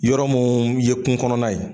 Yɔrɔ mun ye kungo kɔnɔna ye